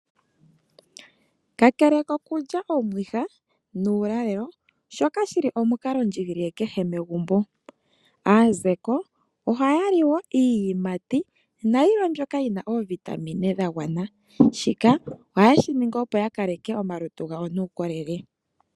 Kakele kokulya omwiha, nuulalelo shoka shili omukalo ndji gilile kehe megumbo. Aazeko oha yali woo iiyimati nayilwe mbyoka yina oovitamine dha gwana, shika ohaye shiningi opo ya kaleke omalutu gawo nuukolele.